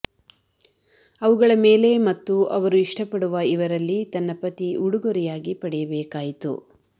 ಅವುಗಳ ಮೇಲೆ ಮತ್ತು ಅವರು ಇಷ್ಟಪಡುವ ಇವರಲ್ಲಿ ತನ್ನ ಪತಿ ಉಡುಗೊರೆಯಾಗಿ ಪಡೆಯಬೇಕಾಯಿತು